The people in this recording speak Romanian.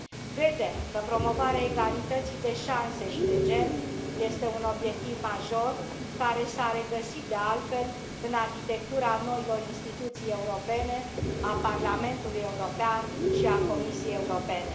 Credem că promovarea egalității de șanse și de gen este un obiectiv major, care s a regăsit, de altfel, în arhitectura noilor instituții europene, a Parlamentului European și a Comisiei Europene.